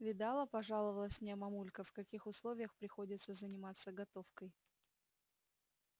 видала пожаловалась мне мамулька в каких условиях приходится заниматься готовкой